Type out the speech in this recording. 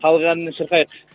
халық әнінен шырқайық